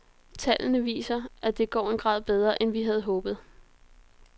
Tallene viser, at det går en grad bedre, end vi havde håbet.